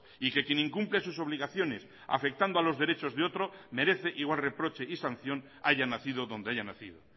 y que quien incumple sus obligaciones afectando a los derechos de otro merece igual reproche y sanción haya nacido donde haya nacido